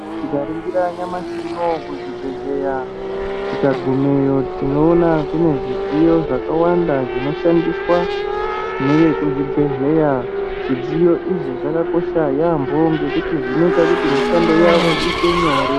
Tikaringira nyamashi unou kuzvibhehleya tikagumewo tinoona kune zvidziyo zvakawanda zvinoshandiswa nevekuzvibhehleya zvidziyo izvi zvakakosha yambo ngekuti zvinoita kuti mishando yavo iite nyore.